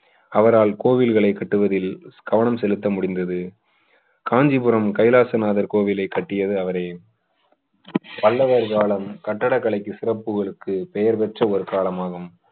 அவரால் கோவில்களை கட்டுவதில் கவனம் செலுத்த முடிந்தது காஞ்சிபுரம் கைலாசநாதர் கோவிலை கட்டியது அவரே பல்லவர் காலம் கட்டிடக்கலை சிறப்புகளுக்கு பெயர் பெற்ற ஒரு காலமாகும்